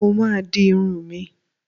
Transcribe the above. Mo ma di irun mi.